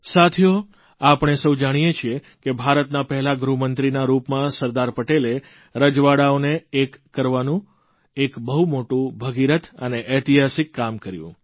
સાથીઓ આપણે સૌ જાણીએ છીએ કે ભારતના પહેલા ગૃહમંત્રીના રૂપમાં સરદાર પટેલે રજવાડાઓને એક કરવાનું એક બહુ મોટું ભગીરથ અને ઐતિહાસિક કામ કર્યું